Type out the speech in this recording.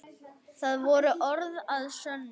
Það voru orð að sönnu.